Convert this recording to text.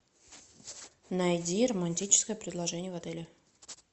найди романтическое предложение в отеле